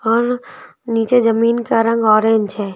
और नीचे जमीन का रंग ऑरेंज है।